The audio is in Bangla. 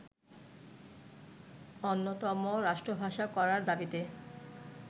অন্যতম রাষ্ট্রভাষা করার দাবিতে